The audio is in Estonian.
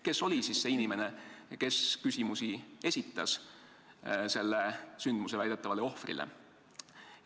Kes oli siis see inimene, kes esitas küsimusi selle vahejuhtumi väidetavale ohvrile?